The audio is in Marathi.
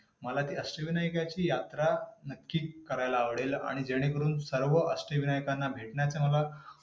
मला जी अष्टविनायकची यात्रा नक्की करायला आवडेल. आणि जेणेकरून सर्व अष्टविनायकाना भेटण्याची मला.